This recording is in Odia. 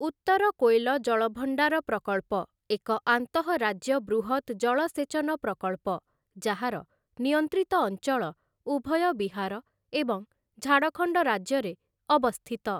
ଉତ୍ତର କୋଏଲ ଜଳଭଣ୍ଡାର ପ୍ରକଳ୍ପ ଏକ ଆନ୍ତଃରାଜ୍ୟ ବୃହତ୍ ଜଳସେଚନ ପ୍ରକଳ୍ପ ଯାହାର, ନିୟନ୍ତ୍ରିତ ଅଞ୍ଚଳ ଉଭୟ ବିହାର ଏବଂ ଝାଡ଼ଖଣ୍ଡ ରାଜ୍ୟରେ ଅବସ୍ଥିତ ।